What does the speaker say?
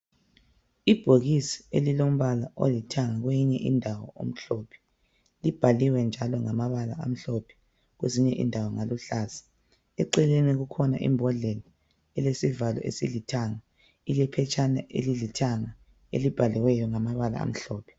Ibhokisi elilombala olithanga kweyinye indawo omhlophe libhaliwe njalo ngamabala amhlophe kwezinye indawo ngaluhlaza eceleni kukhona imbhodlela elesivalo esilothanga ile phetshaneni elilithanga elibhaliweyo ngamabala amhlophe.